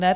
Ne?